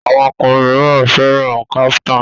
Àwọn okọrin míràn féràn kaftan.